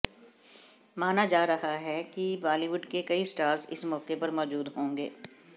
माना जा रहा है कि बॉलीवुड के कई स्टार्स इस मौके पर मौजूद होंगे